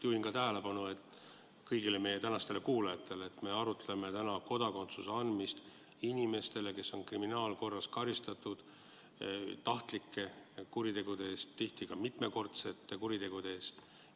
Juhin kõigi meie kuulajate tähelepanu sellele, et me arutame täna kodakondsuse andmist inimestele, keda on kriminaalkorras karistatud tahtlike kuritegude eest, tihti ka mitmekordsete kuritegude eest.